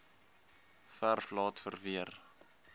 verf laat verweer